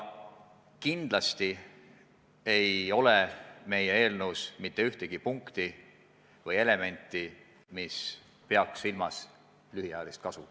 Kindlasti ei ole meie eelnõus mitte ühtegi punkti või elementi, mis peaks silmas lühiajalist kasu.